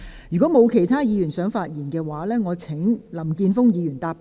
如果沒有，我現在請林健鋒議員答辯。